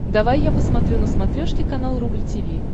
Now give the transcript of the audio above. давай я посмотрю на смотрешке канал рубль ти ви